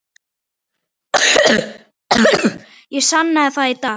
Ég sannaði það í dag.